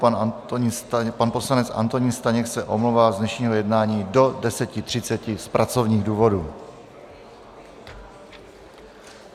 Pan poslanec Antonín Staněk se omlouvá z dnešního jednání do 10.30 z pracovních důvodů.